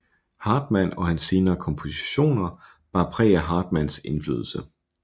Hartmann og hans senere kompositioner bar præg af Hartmanns indflydelse